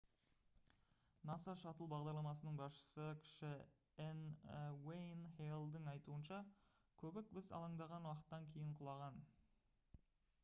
nasa шаттл бағдарламасының басшысы кіші н уэйн хейлдің айтуынша көбік біз алаңдаған уақыттан кейін құлаған